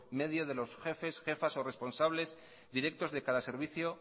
medio de los jefes jefas o responsables directos de cada servicio